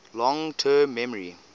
long term memory